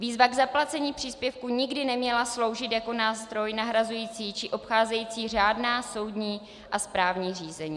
Výzva k zaplacení příspěvku nikdy neměla sloužit jako nástroj nahrazující či obcházející řádná soudní a správní řízení.